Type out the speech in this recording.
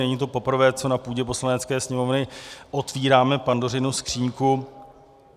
Není to poprvé, co na půdě Poslanecké sněmovny otevíráme Pandořinu skříňku.